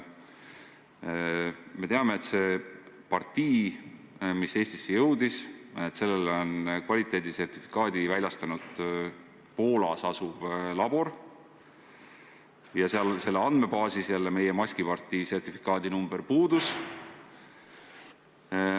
Me teame, et sellele partiile, mis Eestisse jõudis, on kvaliteedisertifikaadi väljastanud Poolas asuv labor, ja sealses andmebaasis meie maskipartii sertifikaadi number puudus.